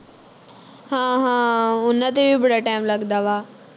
ਹਾਂ ਹਾਂ ਉਨ੍ਹਾਂ ਤੇ ਵੀ ਬੜਾ time ਲੱਗਦਾ ਵਾ